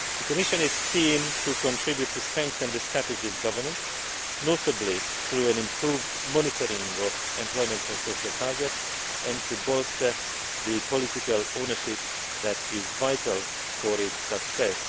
The Commission is keen to contribute to strengthening the strategy's governance notably through improved monitoring of employment and social targets and to bolster the political ownership that is vital for its success.